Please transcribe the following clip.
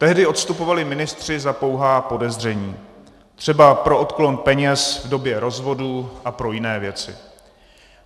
Tehdy odstupovali ministři za pouhá podezření, třeba pro odklon peněz v době rozvodu a pro jiné věci.